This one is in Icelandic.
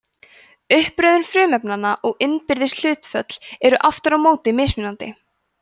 uppröðun frumefnanna og innbyrðis hlutföll eru aftur á móti mismunandi